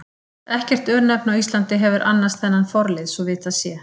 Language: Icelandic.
Ekkert örnefni á Íslandi hefur annars þennan forlið svo vitað sé.